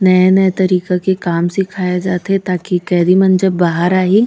नया-नया तरीका के काम सिखाए जाथे ताकि कैदी मन जब बाहर आही--